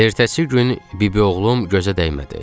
Ertəsi gün bibioğlum gözə dəymədi.